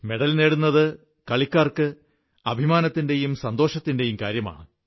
medal നേടുന്നത് കളിക്കാർക്ക് അഭിമാനത്തിന്റെയും സന്തോഷത്തിന്റെയും കാര്യമാണ്